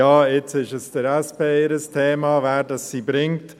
«Ja, jetzt ist es das Thema der SP, wen sie bringt.»